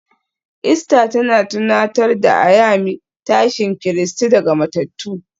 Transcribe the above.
Easter tana tunatar da Ayami tashin Kristi daga matattu